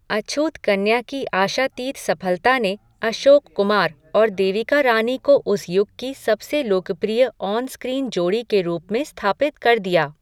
अछूत कन्या की आशातीत सफलता ने अशोक कुमार और देविका रानी को उस युग की सबसे लोकप्रिय ऑन स्क्रीन जोड़ी के रूप में स्थापित कर दिया।